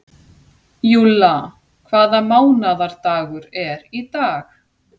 Júlla, hvaða mánaðardagur er í dag?